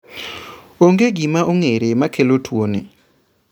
Onge gima ong'ere makelo tuo ni